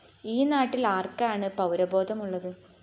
ഈ നാട്ടില്‍ ആര്‍ക്കാണ് പൗരബോധമുള്ളത്